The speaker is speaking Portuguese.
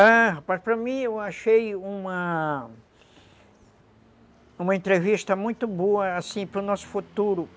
Ah, rapaz, para mim eu achei uma... uma entrevista muito boa, assim, para o nosso futuro.